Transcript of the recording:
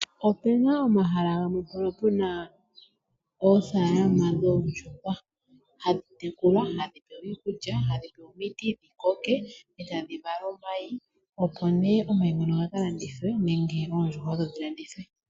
Opu na omahala gamwe mpono pu na oofaalama dhoondjuhwa, hadhi tekulwa, hadhi pewa iikulya, hadhi pewa omiti dhi koke, e tadhi vala omayi. Omayi ngono ohaga ka landithwa nenge oondjuhwa odho dhi landithwe.